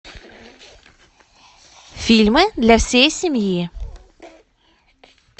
фильмы для всей семьи